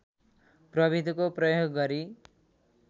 प्रविधिको प्रयोग गरी